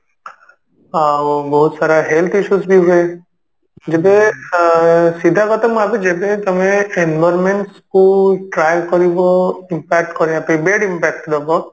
ଆଉ ବହୁତ ସାରା health issues ବି ହୁଏ ଯେବେ ସିଧା କଥା ମୁଁ ଭାବେ ଯେବେ ତମେ environment କୁ try କରିବ impact କରିବା ପାଇଁ bad impact ଦବ